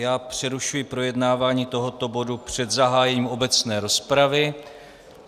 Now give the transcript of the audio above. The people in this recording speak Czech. Já přerušuji projednávání tohoto bodu před zahájením obecné rozpravy.